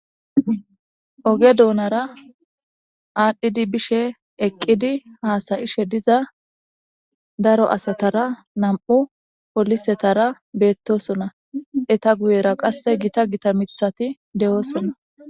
Ooge duunnara adhdhidi biishshe eeqiddi hassa'ishe diza daro asatara nam'u polisetara bettossonna eetta guuyera qase giitta giitta miiththatti de'iossonna